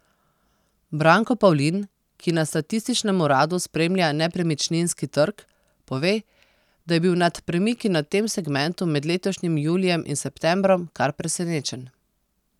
Branko Pavlin, ki na Statističnem uradu spremlja nepremičninski trg, pove, da je bil nad premiki na tem segmentu med letošnjim julijem in septembrom kar presenečen.